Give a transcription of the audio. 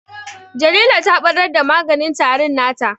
Jalila ta ɓarar da maganin tarin nata